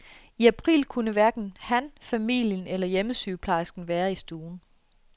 I april kunne hverken han, familien eller hjemmesygeplejersken være i stuen.